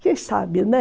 Quem sabe, né?